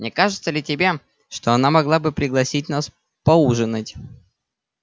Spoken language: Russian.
не кажется ли тебе что она могла бы пригласить нас поужинать